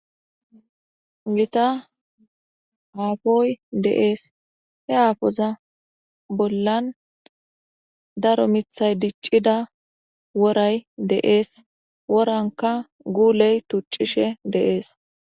Gita haafoy deees he aafoza bollan daro mithay diccida woray deees woranka guuley tuccishe deees.